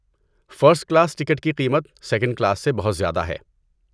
First class ticket کی قیمت second class سے بہت زیادہ ہے۔